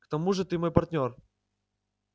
к тому же ты мой партнёр